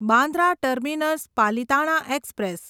Bandra terminus Palitana express